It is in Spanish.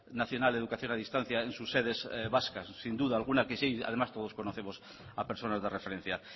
nacional de educación a distancia en sus sedes vascas sin duda en alguna que sí además todos conocemos a personas de referencia